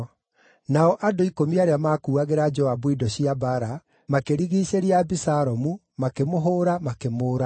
Nao andũ ikũmi arĩa maakuuagĩra Joabu indo cia mbaara makĩrigiicĩria Abisalomu, makĩmũhũũra, makĩmũũraga.